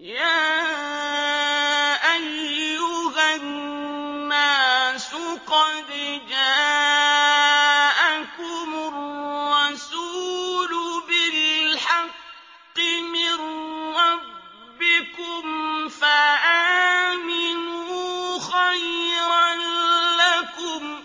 يَا أَيُّهَا النَّاسُ قَدْ جَاءَكُمُ الرَّسُولُ بِالْحَقِّ مِن رَّبِّكُمْ فَآمِنُوا خَيْرًا لَّكُمْ ۚ